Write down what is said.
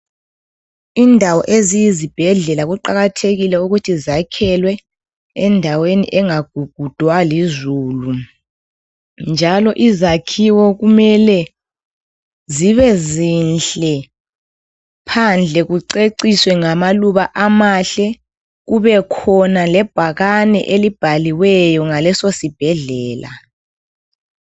Indawo eziyizibhedlela kuqakathekile ukuthi zakhelwe endaweni engagugudwa lizulu njalo izakhiwo kumele zibe zinhle phandle kuceciswe ngamaluba amahle kubekhona lebhakane elibhaliweyo ngaleso sibhedlela.